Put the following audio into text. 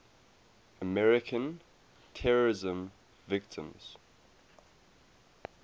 american terrorism victims